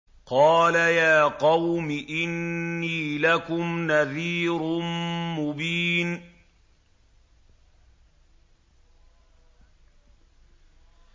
قَالَ يَا قَوْمِ إِنِّي لَكُمْ نَذِيرٌ مُّبِينٌ